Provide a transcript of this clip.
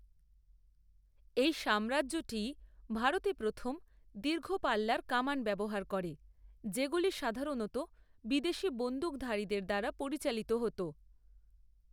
এই সাম্রাজ্যটিই ভারতে প্রথম দীর্ঘপাল্লার কামান ব্যবহার করে, যেগুলি সাধারণত বিদেশী বন্দুকধারীদের দ্বারা পরিচালিত হত।